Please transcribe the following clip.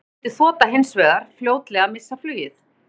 Við það mundi þotan hins vegar fljótlega missa flugið.